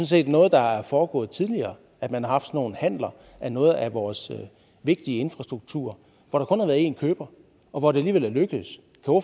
set noget der er foregået tidligere at man har haft sådan nogle handeler af noget af vores vigtige infrastruktur hvor der én køber og hvor det alligevel er lykkedes